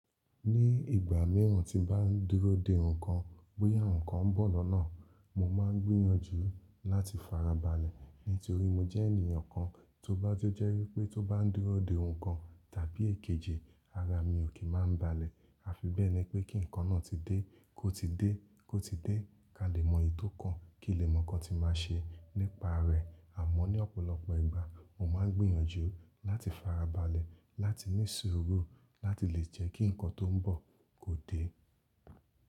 Ní ìgbà míràn tí n bá n dúró dè nǹkan, bóyá nǹkan ń bọ̀ lọ́nà, mo máa ń gbìyànjú láti farabalẹ̀. Ní torí mo jẹ́ ènìyàn kan tó bá ti jẹ́ wípé tó bá ń dúró dè nǹkan tàbí èkejì ara mi ò kí máa ń balẹ̀. A fi bẹ́ẹ̀ ni pé kí nǹkan náà ti dé, kó ti dé, kó ti dé, ká lè mọ ètó kan, kí lè mọ̀ nǹkan tí máa ṣe nípa rẹ̀. Àmọ́ ní ọ̀pọ̀lọpọ̀ ìgbà mo máa ń gbìyànjú láti farabalẹ̀, láti ní sùúrù, láti lè jẹ́ kí nǹkan tó ń bọ̀ kó dé.